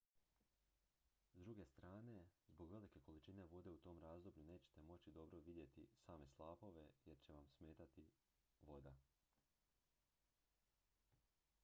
s druge strane zbog velike količine vode u tom razdoblju nećete moći dobro vidjeti same slapove jer će vam smetati voda